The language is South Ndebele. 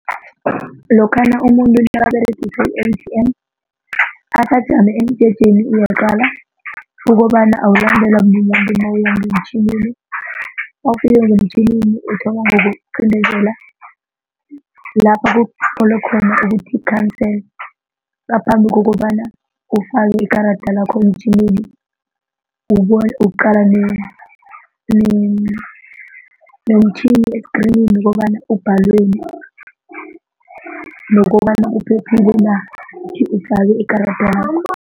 Lokhana umuntu nakaberegisa i-A_T_M asajame emjejeni uyaqala ukobana awulandelwa mumuntu nawuya ngemtjhinini nawufika ngemtjhini uthoma ngokuqindezela lapha kutlowe khona ukuthi cancel ngaphambi kokobana ufake ikarada lakho emtjhinini ukuqala nomtjhini eskrinini kobana ubhalweni nokobana uphephile na ukuthi ufake ikarada lakho.